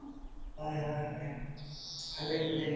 হয় হয় হয় । ভাল লাগিব